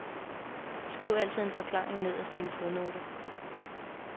Skriv altid en forklaring nederst i en fodnote.